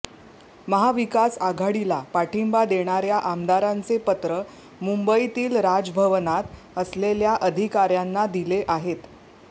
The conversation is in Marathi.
महाविकास आघाडीला पाठिंबा देणाऱ्या आमदारांचे पत्र मुंबईतील राजभवनात असलेल्या अधिकाऱ्यांना दिले आहेत